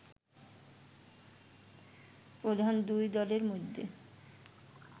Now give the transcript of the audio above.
প্রধান দুই দলের মধ্যে